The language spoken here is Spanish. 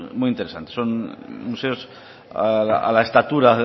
muy interesantes son museos a la estatura